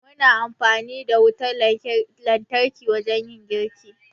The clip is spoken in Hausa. Mu na yin amfani da wutar lantarki wurin yin girki